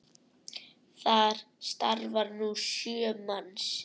Þar starfa nú sjö manns.